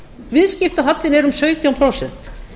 viðskiptahallinn er um sautján prósent